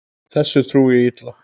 Þessu trúi ég illa.